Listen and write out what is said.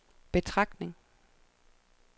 betragtning